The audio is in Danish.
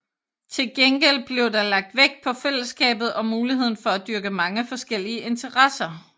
Til gengæld blev der lagt vægt på fællesskabet og muligheden for at dyrke mange forskellige interesser